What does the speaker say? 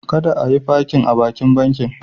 Kada a yi fakin a bakin bankin.